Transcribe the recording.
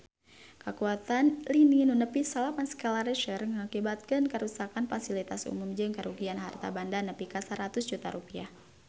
Kakuatan lini nu nepi salapan skala Richter ngakibatkeun karuksakan pasilitas umum jeung karugian harta banda nepi ka 100 juta rupiah